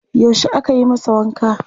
Yaushe aka yi masa wanka?